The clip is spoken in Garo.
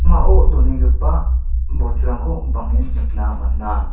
donenggipa bosturangko bang·en nikna man·a.